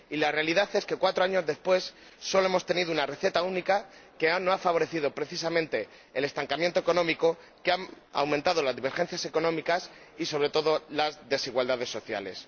Y la realidad es que, cuatro años después, solo hemos tenido una receta única que no ha favorecido precisamente el crecimiento económico, han aumentado las divergencias económicas y, sobre todo, las desigualdades sociales.